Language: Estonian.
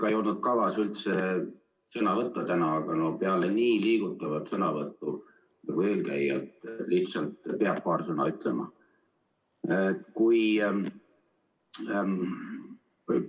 Mul ei olnud üldse kavas täna sõna võtta, aga no peale nii liigutavat sõnavõttu nagu eelkõnelejal ma lihtsalt pean paar sõna ütlema.